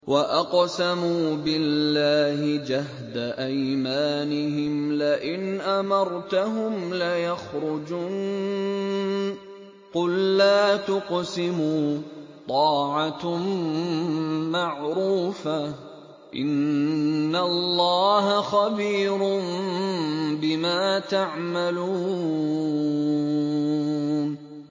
۞ وَأَقْسَمُوا بِاللَّهِ جَهْدَ أَيْمَانِهِمْ لَئِنْ أَمَرْتَهُمْ لَيَخْرُجُنَّ ۖ قُل لَّا تُقْسِمُوا ۖ طَاعَةٌ مَّعْرُوفَةٌ ۚ إِنَّ اللَّهَ خَبِيرٌ بِمَا تَعْمَلُونَ